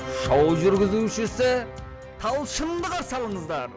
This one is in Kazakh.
шоу жүргізушісі талшынды қарсы алыңыздар